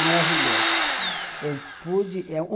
Maravilhoso. Hum. Eu pude